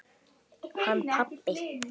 Hann pabbi?